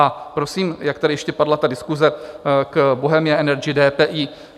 A prosím, jak tady ještě padla ta diskuse k Bohemia Energy, DPI.